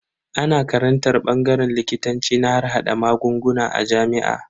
Ana karantar bangaren likitanci na harhada magunguna a jami'a.